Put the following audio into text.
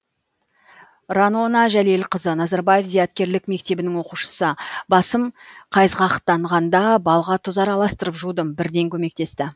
ранона жәлелқызы назарбаев зияткерлік мектебінің оқушысы басым қайызғақтанғанда балға тұз араластырып жудым бірден көмектесті